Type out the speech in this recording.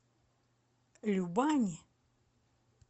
любани